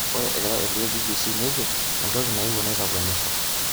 Ore egira airorie BBC nejo"entoki naewuo naitakwenisho,"